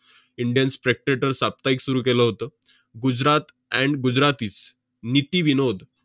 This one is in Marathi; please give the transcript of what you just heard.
indian spectrator साप्ताहिक सुरु केलं होतं. गुजरात and gujratis नीती विनोद